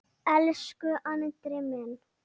Elsku Andri minn.